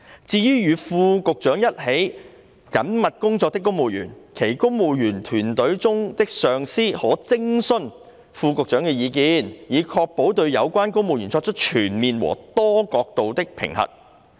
至於與副局長一起緊密工作的公務員，其公務員隊伍中的上司可徵詢副局長的意見，以確保對有關公務員作出全面和多角度的評核。